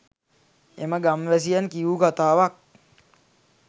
එම ගම්වැසියන් කියූ කතාවක්